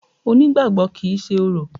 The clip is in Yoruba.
Onígbàgbọ́ kìí ṣe orò.